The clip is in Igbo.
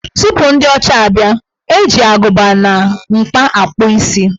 Tupu ndị ọcha abịa, eji agụba na mkpa akpụ isi.